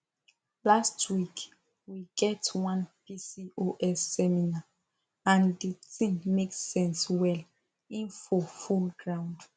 last week we get one pcos seminar and the thing make sense well info full ground